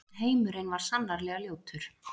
Heimurinn var sannarlega ljótur.